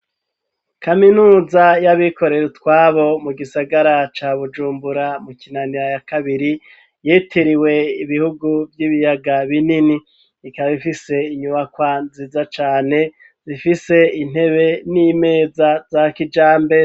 Kaminuza y'abikorere utwabo mu gisagara ca Bujumbura mu Kinaniro ya kabiri yitiriwe ibihugu vy'ibiyaga binini ikaba ifise inyubakwa nziza cane zifise intebe n'imeza za kijambere.